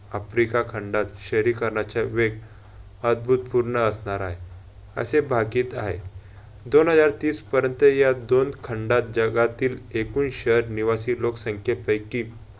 Africa खंडात शहरीकरणाचे वेग अभूतपूर्व असणार हाय असे भाकीत हाय. दोन हजार तीस पर्यंत या दोन खंडात जगातील एकूण शहर निवासी लोकसंख्यापैकी